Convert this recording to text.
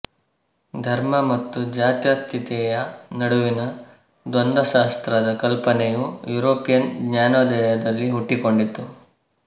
ಧರ್ಮ ಮತ್ತು ಜಾತ್ಯತೀತತೆಯ ನಡುವಿನ ದ್ವಂದ್ವಶಾಸ್ತ್ರದ ಕಲ್ಪನೆಯು ಯುರೋಪಿಯನ್ ಜ್ಞಾನೋದಯದಲ್ಲಿ ಹುಟ್ಟಿಕೊಂಡಿತು